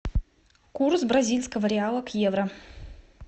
курс бразильского реала к евро